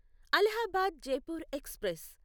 Allahabad Jaipur express